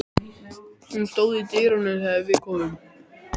Hún stóð í dyrunum þegar við komum.